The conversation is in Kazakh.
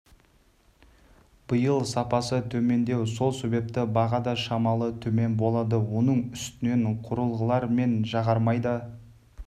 биыл сапасы төмендеу сол себепті баға да шамалы төмен болады оның үстіне құрылғылар мен жағармай да